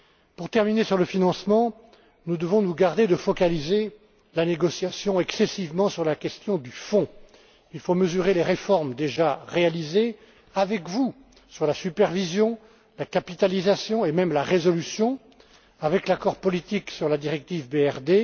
Pour terminer sur le financement, nous devons nous garder de focaliser la négociation à l'excès sur la question du fonds. Il faut mesurer les réformes déjà réalisées avec vous sur la supervision, sur la capitalisation et même sur la résolution, avec l'accord politique sur la directive BRRD.